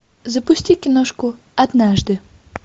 запусти киношку однажды